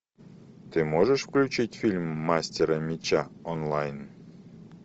ты можешь включить фильм мастера меча онлайн